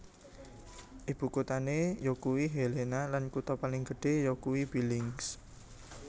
Ibukuthané yakuwi Helena lan kutha paling gedhé yakuwi Billings